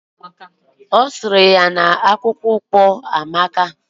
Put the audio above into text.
Ọzara ya na akpụkpọ ụkwụ ahu amaka